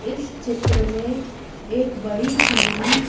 इस चित्र में एक बड़ी टीवी--